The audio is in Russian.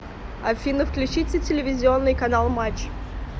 афина включите телевизионный канал матч